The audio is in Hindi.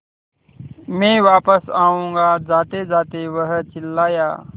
मैं वापस आऊँगा जातेजाते वह चिल्लाया